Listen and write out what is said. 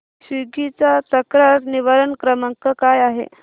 Swiggy चा तक्रार निवारण क्रमांक काय आहे